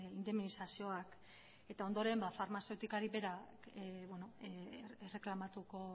indemnizazioak eta ondoren farmazeutikari berak erreklamatuko